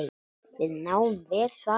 Við náum vel saman.